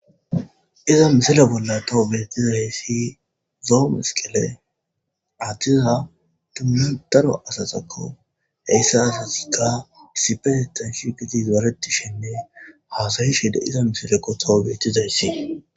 Iza misila bolla tawo beettizayssi zoo masqile adhtiza duma daro asasakko heyssa asasikka sipetetan shigiti zaretishenne haasayi shiida iza misilekko tawo beettizayssi.